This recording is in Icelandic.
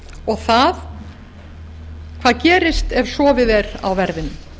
og það hvað gerist ef sofið er á verðinum